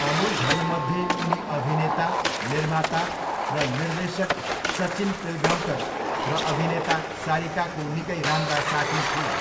अनुजहरूमध्ये उनी अभिनेता, निर्माता र निर्देशक सचिन पिल्गाउँकर र अभिनेता सारिकाको निकै राम्रा साथी थिए।